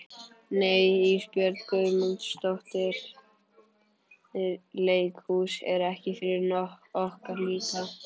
Nei Ísbjörg Guðmundsdóttir, leikhús er ekki fyrir okkar líka.